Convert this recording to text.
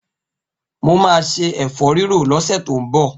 Mo ma se ẹ̀fọ́rírò lọ́sẹ̀ tó ń bọ̀.